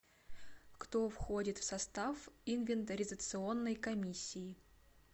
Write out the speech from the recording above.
кто входит в состав инвентаризационной комиссии